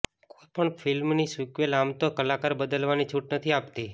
કોઈપણ ફિલ્મની સિક્વલ આમ તો કલાકાર બદલવાની છૂટ નથી આપતી